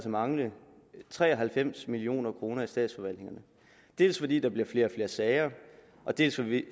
mangle tre og halvfems million kroner i statsforvaltningerne dels fordi der bliver flere og flere sager dels